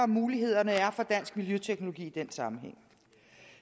muligheder der er for dansk miljøteknologi i den sammenhæng